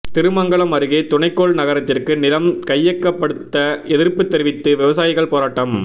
திருமங்கலம் அருகே துணைக்கோள் நகரத்திற்கு நிலம் கையகப்படுத்த எதிர்ப்பு தெரிவித்து விவசாயிகள் போராட்டம்